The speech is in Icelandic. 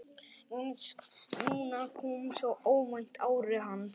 Núna kom svo óvænt árið hans.